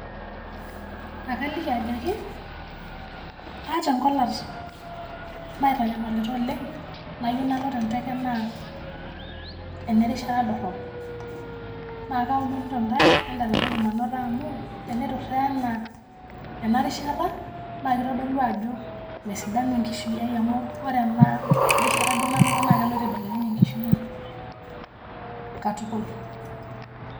Ekaliki ajoki aata enkolat naaitanyamalita oleng' nayieu nalo tenteke naa ene rishata dorrop naa kaomonito ntae entaretoki manoto amu tenaiturra ena rishat naa kitodolu ajo mesidanu enkishui aai amu ore ena rishata duo nanoto naa keloito aibelekeny enkishui aai katukul.